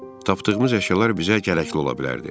Tapdığımız əşyalar bizə gərəkli ola bilərdi.